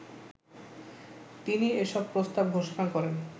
তিনি এসব প্রস্তাব ঘোষণা করেন